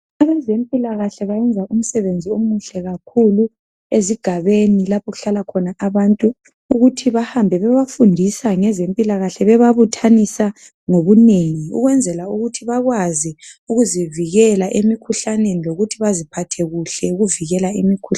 Abezempilakahle bayenza umsebenzi omuhle kakhulu ezigabeni lapho okuhlala khona abantu ukuthi bahambe bebafundisa ngezempilakahle bebabuthanisa ngobunengi ukwenzela ukuthi bakwazi ukuzivikela emikhuhlaneni lokuthi baziphathe kuhle ukuvikela imikhuhlane.